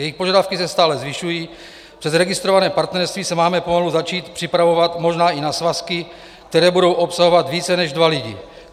Jejich požadavky se stále zvyšují, přes registrované partnerství se máme pomalu začít připravovat možná i na svazky, které budou obsahovat více než dva lidi.